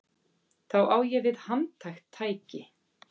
Þá á ég við handhægt tæki.